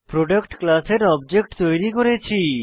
product ক্লাসের object তৈরী করছি